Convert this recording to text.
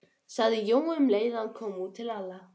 sagði Jói um leið og hann kom út til Lalla.